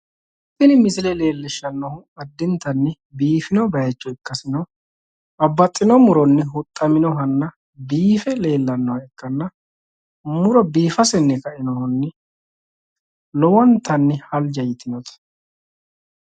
tini misile leelishshannonkehu addintanni biifino bayiicho ikasinna babaxitino muronni huxxaminohanna biife leellannoha ikkanna muro biifasenni kainohunni lowontanni halja yitinote.